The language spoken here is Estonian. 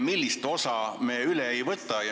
Millist osa ja miks me üle ei võta?